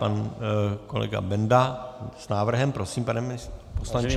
Pan kolega Benda s návrhem, prosím pane poslanče.